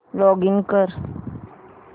login कर